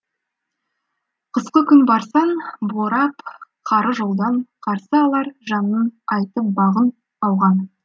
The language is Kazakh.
қысқы күн барсаң борап қары жолдан қарсы алар жанның айтып бағын ауған